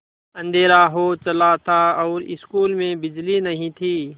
अँधेरा हो चला था और स्कूल में बिजली नहीं थी